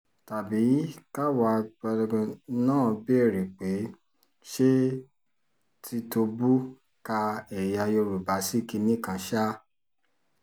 tàbí káwa náà béèrè pé ṣé tìtóbù ka ẹ̀yà yorùbá sí kinní kan ṣáá